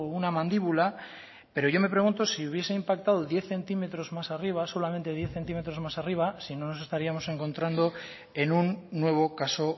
una mandíbula pero yo me pregunto si hubiese impactado diez centímetros más arriba solamente diez centímetros más arriba si no nos estaríamos encontrando en un nuevo caso